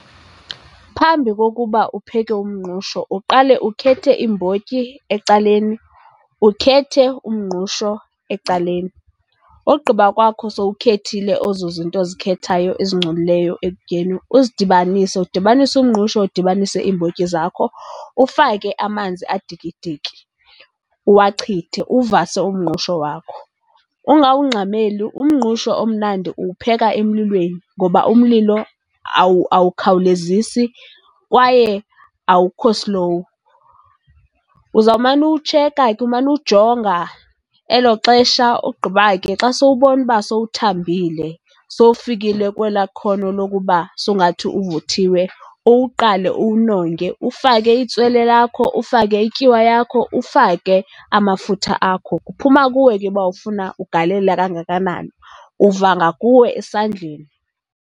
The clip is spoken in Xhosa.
Phambi kokuba upheke umngqusho uqale ukhethe iimbotyi ecaleni, ukhethe umngqusho ecaleni. Ogqiba kwakho sowukhethile ezo zinto ozikhethayo ezingcolileyo ekutyeni, uzidibanise. Udibanise umngqusho, udibanise iimbotyi zakho. Ufake amanzi adikidiki, uwachithe, uvase umngqusho wakho. Ungawungxameli, umngqusho omnandi uwupheka emlilweni ngoba umlilo awukhawulezisi kwaye awukho slow. Uzawumane uwutsheka ke, umane uwujonga elo xesha. Ogqiba ke xa sowubona uba sowuthambile, sowufikile kwelaa khono lokuba songathi uvuthiwe, uwuqale uwunonge. Ufake itswele lakho, ufake ityiwa yakho, ufake amafutha akho. Kuphuma kuwe ke uba ufuna ugalela kangakanani, uva ngakuwe esandleni.